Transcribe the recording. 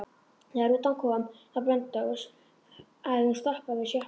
Þegar rútan kom á Blönduós hafði hún stoppað við sjoppu.